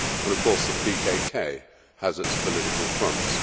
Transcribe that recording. Of course, the PKK has its political fronts.